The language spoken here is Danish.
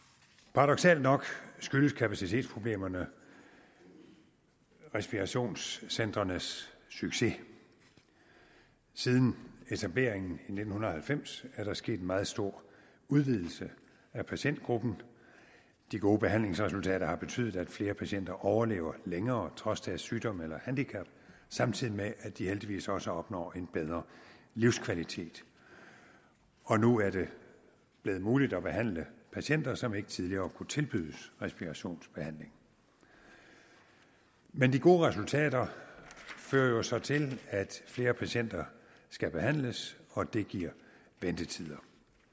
paradoksalt nok skyldes kapacitetsproblemerne respirationscentrenes succes siden etableringen i nitten halvfems er der sket en meget stor udvidelse af patientgruppen de gode behandlingsresultater har betydet at flere patienter overlever længere trods deres sygdom eller handicap samtidig med at de heldigvis også opnår en bedre livskvalitet og nu er det blevet muligt at behandle patienter som ikke tidligere kunne tilbydes respirationsbehandling men de gode resultater fører jo så til at flere patienter skal behandles og det giver ventetider